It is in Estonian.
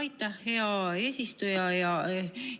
Aitäh, hea eesistuja!